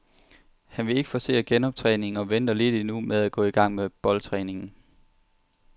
Han vil ikke forcere genoptræningen og venter lidt endnu med at gå i gang med boldtræningen.